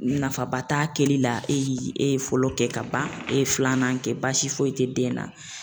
Nafaba t'a kɛli la e ye e ye fɔlɔ kɛ ka ban e ye filanan kɛ baasi foyi tɛ den na.